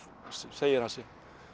segir ansi